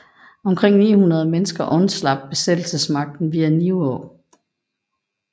Omkring 900 mennesker undslap besættelsesmagten via Nivå